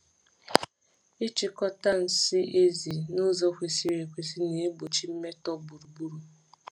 Ịchịkọta nsị ezi n’ụzọ kwesịrị ekwesị na-egbochi mmetọ gburugburu.